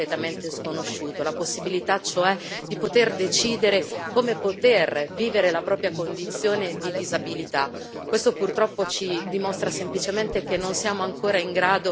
che nel mio paese, oggi, sembra non solo una chimera ma qualcosa di completamente sconosciuto, cioè la possibilità di poter decidere come poter vivere la propria condizione di disabilità.